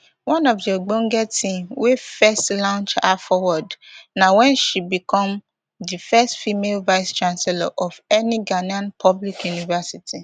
one of di ogbonge tin wey first launch her forward na wen she become di first female vice chancellor of any ghanaian public university